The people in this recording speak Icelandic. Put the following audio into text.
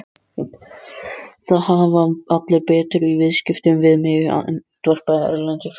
Það hafa allir betur í viðskiptum við mig, andvarpaði Erlendur.